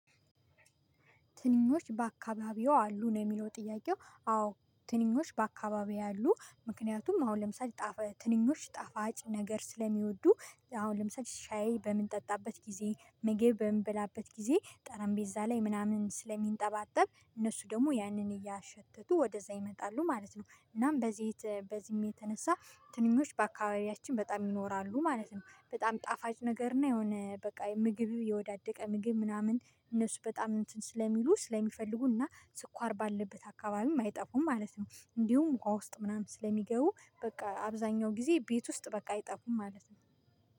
ትንኞች በአካባቢው አሉ ነው የሚለው ጥያቄው አዎ። ትንኞች በአካባቢው አሉ ምክንያቱም አሁን ለምሳሌ ትንኞች ጣፋጭ ነገር ስለሚወዱ አሁን ለምሳሌ ሻይ በምንጠጣበት ጊዜ ምግብ በምንበላበት ጊዜ ጠረንቤዛ ላይ ምናምን ስለሚንጠባጠብ እነሱ ደግሞ ያንን እያሸተቱ ወደዛ ይመጣሉ ማለት ነው። እናም በዚህ በዚህም የተነሳ ትንኞች በአካባቢያችን በጣም ይኖራሉ ማለት ነው። በጣም ጣፋጭ ነገር እና የሆነ በቃ ምግብ የወዳደቀ ምግብ ምናምን እነሱ በጣም እንትን ስለሚሉ ስለሚፈልጉ እና ስኳር ባለበት አካባቢም አይጠፉም ማለት ነው። እንዲሁም ውሃ ውስጥ ምናምን ስለሚገቡ በቃ አብዛኛው ጊዜ ቤት ውስጥ በቃ አይጠፉም ማለት ነው